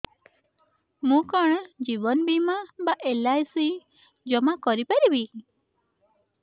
ମୁ କଣ ଜୀବନ ବୀମା ବା ଏଲ୍.ଆଇ.ସି ଜମା କରି ପାରିବି